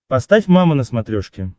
поставь мама на смотрешке